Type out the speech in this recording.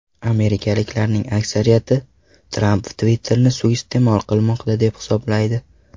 Amerikaliklarning aksariyati Tramp Twitter’ni suiiste’mol qilmoqda, deb hisoblaydi.